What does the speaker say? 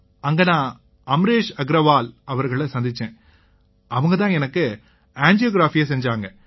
அங்க நான் அமரேஷ் அக்ரவால் அவங்களை சந்திச்சேன் அவங்க தான் எனக்கு ஆஞ்சியோகிராஃபியை செஞ்சாங்க